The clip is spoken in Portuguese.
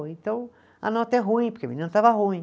Então a nota é ruim, porque a menina estava ruim.